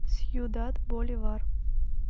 сьюдад боливар